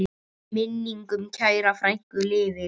Minning um kæra frænku lifir.